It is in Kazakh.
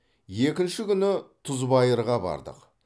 екінші күні тұзбайырға бардық